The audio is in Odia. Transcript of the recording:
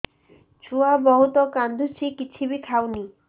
ଛୁଆ ବହୁତ୍ କାନ୍ଦୁଚି କିଛିବି ଖାଉନି